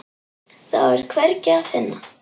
Þá er hvergi að finna.